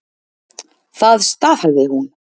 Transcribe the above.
Það staðhæfði hún.